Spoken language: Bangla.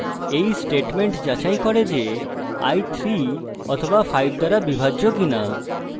এই statement যাচাই করে যে i 3 অথবা 5 দ্বারা বিভাজ্য কিনা